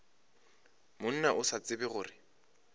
monna o sa tsebe gore